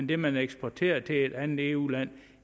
det man eksporterer til et andet eu land